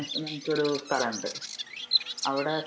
നമുക്കൊരു സ്ഥലം ഉണ്ട്, അവിടെ